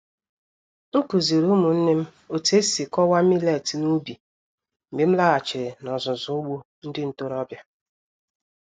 M kụziri ụmụnne m otu esi kọwaa millets n’ubi mgbe m laghachiri n'ọzụzụ ugbo ndị ntorobịa.